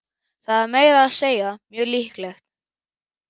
Það er meira að segja mjög líklegt.